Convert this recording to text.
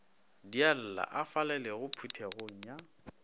dialla a falalelago phuthegong ya